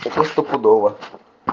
это стопудово